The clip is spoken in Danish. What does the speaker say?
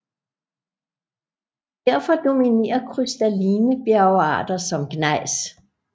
Derfor dominerer krystalline bjergarter som gnejs